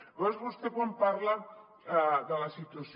llavors vostè quan parla de la situació